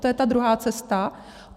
To je ta druhá cesta.